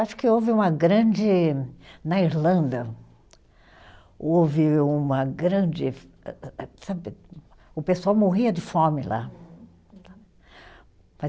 Acho que houve uma grande, na Irlanda, houve uma grande eh, eh eh, sabe, o pessoal morria de fome lá.